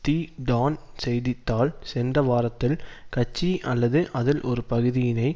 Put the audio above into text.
தி Dawn செய்தி தாள் சென்ற வாரத்தில் கட்சி அல்லது அதில் ஒரு பகுதியினை